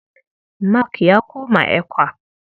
Mark ya koma ECWA.